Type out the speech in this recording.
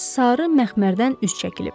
Sarı məxmərdən üz çəkilib.